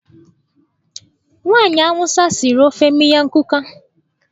Nwaanyị Awụsa siri ofe miyan kuka.